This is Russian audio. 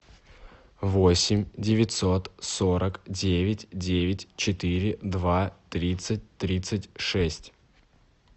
восемь девятьсот сорок девять девять четыре два тридцать тридцать шесть